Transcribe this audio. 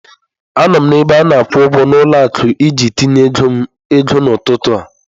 Anọ m na ebe ana-akwụ ụgwọ na ụlọ akụ iji tinye ego n'ụtụtụ a.